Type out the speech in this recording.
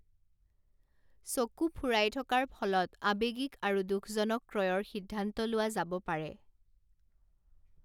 চকু ফুৰাই থকাৰ ফলত আৱেগিক আৰু দুঃখজনক ক্ৰয়ৰ সিদ্ধান্ত লোৱা যাব পাৰে।